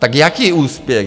Tak jaký úspěch?